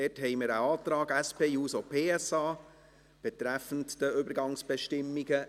Wir haben einen Antrag SP-JUSO-PSA betreffend die Übergangsbestimmungen.